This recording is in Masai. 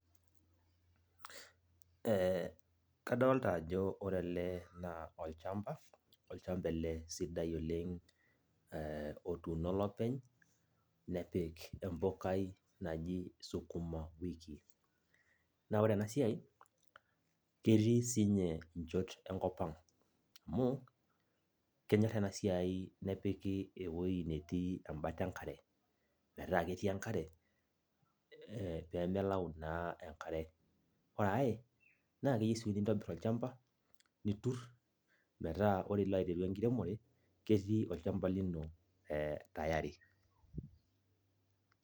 Kadolta ajo ore ele naa, olchamba, olchamba ele sidai oleng otuuno olopeny, nepik empukai naji sukuma wiki. Na ore enasiai, ketii sinye inchot enkop ang'. Amu, kenyor enasiai nepiki ewoi netii ebata enkare. Metaa ketii enkare, pemelau naa enkare. Ore ai, na keyieu si nintobir olchamba, nitur, metaa ore ilo aiteru enkiremore, ketii olchamba lino tayari.